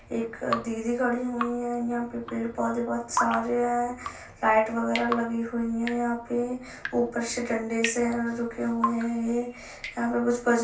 एक दीदी खड़ी हुई हैं। यहां पे पेड़ पौधे बहोत सारे हैं। लाइट वगैरा लगी हुई है यहाँ पे । ऊपर से डंडे से रुके हुए हैं ये। यहाँ पे कुछ --